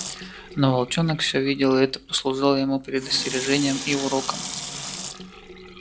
но волчонок все видел и это послужило ему предостережением и уроком